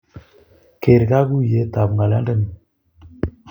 Keer kakuuyeet ab ngolyondeni